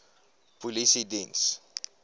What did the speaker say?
polisiediens